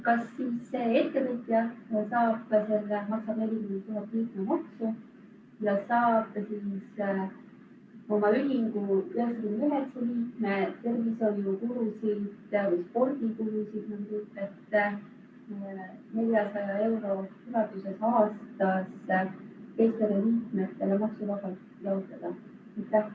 Kas see ettevõtja saab maksta 40 000 eurot liikmemaksu ja saab siis ühingu 99 liikme tervishoiukuludelt ja spordikuludelt, mis on 400 eurot aastas inimese kohta, maksuvabastust taotleda?